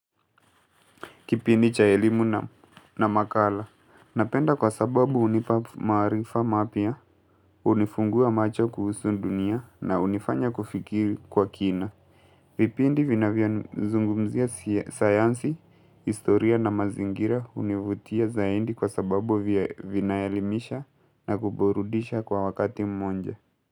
Kipindi cha elimu na makala. Napenda kwa sababu hunipa maarifa mapya, unifungua macho kuhusu dunia na unifanya kufikiri kwa kina. Vipindi vinavyo zungumzia sayansi, historia na mazingira hunivutia zaidi kwa sababu vinaelimisha na kuburudisha kwa wakati mmoja.